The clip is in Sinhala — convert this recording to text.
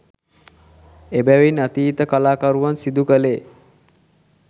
එබැවින් අතීත කළා කරුවන් සිදුකලේ